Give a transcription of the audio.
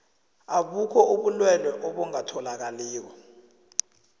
abukho ubulwelwe obungatholakaliko